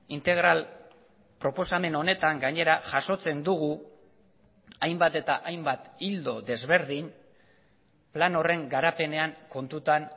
integral proposamen honetan gainera jasotzen dugu hainbat eta hainbat ildo desberdin plan horren garapenean kontutan